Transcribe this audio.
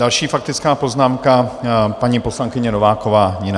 Další faktická poznámka, paní poslankyně Nováková Nina.